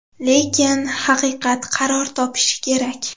Lekin haqiqat qaror topishi kerak.